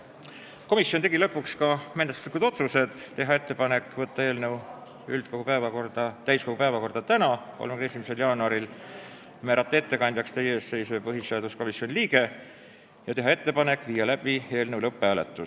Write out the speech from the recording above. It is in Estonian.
Komisjon tegi lõpuks järgmised menetluslikud otsused: teha ettepanek võtta eelnõu täiskogu päevakorda tänaseks, 31. jaanuariks, määrata ettekandjaks teie ees seisev põhiseaduskomisjoni liige ja teha ettepanek viia läbi eelnõu lõpphääletus.